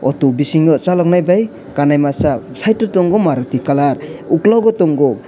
tui bisingo chulagna bai kana masa site o tongo maruti colour ukulug o tongo.